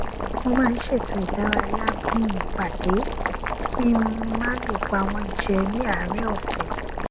mo maá n ṣètò ìdárayá bí i ìpàdé kí n má lè pa wọn jẹ ní àárín ọsẹ